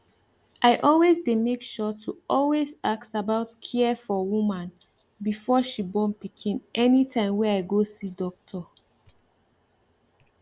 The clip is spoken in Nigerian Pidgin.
i always dey make sure to always ask about care for woman before she born pikin anytime wey i go see doctor